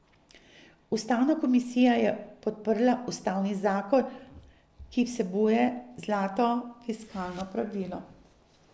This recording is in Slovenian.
Ustavna komisija je podprla ustavni zakon, ki vsebuje zlato fiskalno pravilo.